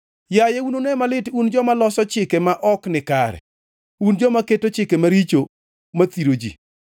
Yaye, unune malit un joma loso chike ma ok nikare, un joma keto chike maricho mathiro ji,